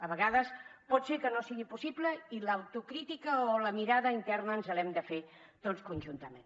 a vegades pot ser que no sigui possible i l’autocrítica o la mirada interna ens l’hem de fer tots conjuntament